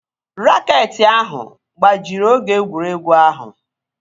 Raket ahụ gbajiri oge egwuregwu ahụ